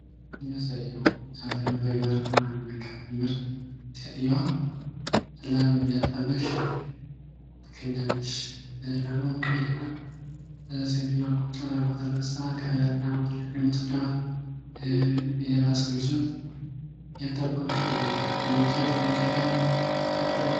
የሚያሳየው አበዛኛው በግብርና ሴትዮዋ ላም እያጣባች ትገኛለች። ላሟም ቀይ ናት ሴትዮዋ ቁጭ ብላ ጥጃዋን ሌላ ሰው ይዞት እያጣቡ ይገኛሉ።